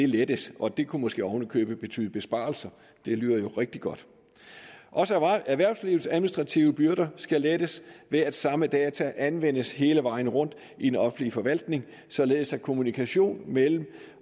lettes og det kunne måske oven i købet betyde besparelser det lyder jo rigtig godt også erhvervslivets administrative byrder skal lettes ved at samme data anvendes hele vejen rundt i den offentlige forvaltning således at kommunikationen mellem